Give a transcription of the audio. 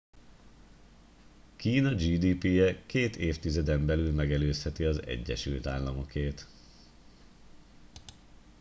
kína gdp je két évtizeden belül megelőzheti az egyesült államokét